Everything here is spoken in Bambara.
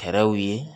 Fɛɛrɛw ye